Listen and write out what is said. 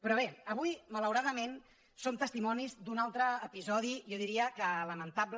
però bé avui malauradament som testimonis d’un altre episodi jo diria que lamentable